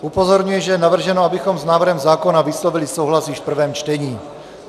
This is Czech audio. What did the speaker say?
Upozorňuji, že je navrženo, abychom s návrhem zákona vyslovili souhlas již v prvém čtení.